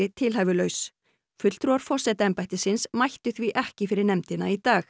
tilhæfulaus fulltrúar forsetaembættisins mættu því ekki fyrir nefndina í dag